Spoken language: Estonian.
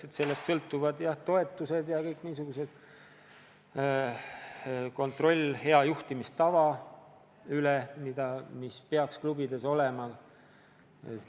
Sest sellest sõltuvad toetused ja kontroll hea juhtimistava üle, millest klubid peaksid juhinduma.